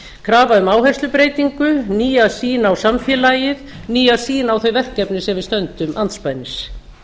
krafa um áherslubreytingu nýja sýn á samfélagið nýja sýn á þau verkefni sem við stöndum andspænis